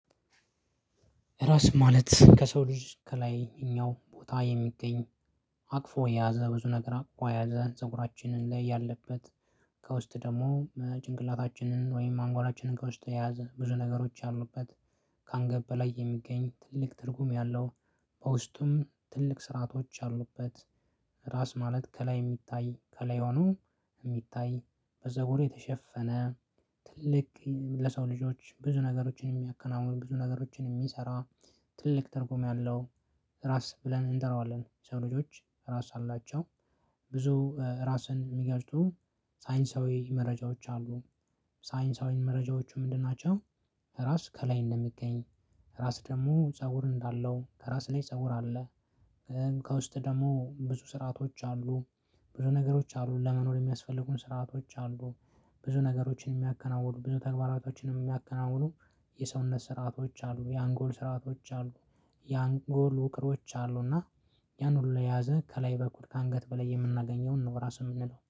ራስ ማለት ከሰው ልጅ ከላይኛው ቦታ የሚገኝ አቅፎ የያዘ ብዙ ነገር አቅፎ የያዘ ፀጉራችንን ላይ ያለበት ከውስጥ ደግሞ ጭንቅላታችንን ወይም አንጎላችንን ከውስጥ የያዘ ብዙ ነገሮች ያሉበት። ከአንገብ በላይ የሚገኝ ትልቅ ትርጉም ያለው በውስጡም ትልቅ ስርአቶች ያሉበት። ራስ ማለት ከላይ የሚታይ ከላይ ሆኖ የሚታይ በፀጉር የተሸፈነ ትልቅ ለሰው ልጆች ብዙ ነገሮችን የሚያከናውን ብዙ ነገሮችን የሚሰራ ትልቅ ተርጉም ያለው። ራስ ብለን እንጠራዋለን የሰው ልጆች እራስ አላቸው። ብዙ ራስን የሚገልጹ ሳይንሳዊ መረጃዎች አሉ። ሳይንሳዊ መረጃዎቹ ምንድን ናቸው? ራስ ከላይ እንደሚገኝ ራስ ደግሞ ፀጉር እንዳለው ከራስ ላይ ፀጉር አለ። ከውስጥ ደግሞ ብዙ ስርዓቶች አሉ። ብዙ ነገሮች አሉ ለመኖር የሚያስፈልጉን ስርዓቶች አሉ። ብዙ ነገሮችን የሚያከናውኑ ብዙ ተግባራቶችንም የሚያከናውኑ የሰውነት ስርአቶች አሉ የአንጎል ስርአቶች አሉ። የአንጎል ውቅሮች አሉ እና ያን ሁሉ የያዘ ከላይ በኩል ከ አንገት በላይ የምናገኘውን ነው ራሱ የምንለው